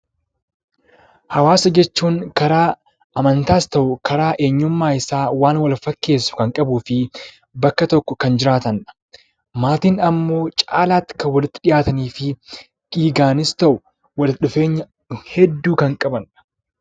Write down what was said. Hawaasa jechuun karaa hawaasummaas haa ta'uu karaa eenyummaa isaa wal fakkeessu kan qabuu fi bakka tokko kan jiraatan. Maatiin immoo caalaatti kan walitti dhiyaatanii fi dhiigaanis ta'ee walitti dhufeenya qabanidha.